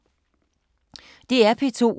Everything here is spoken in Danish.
DR P2